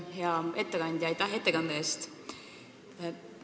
Hea ettekandja, aitäh ettekande eest!